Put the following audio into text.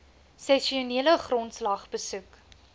sessionele grondslag besoek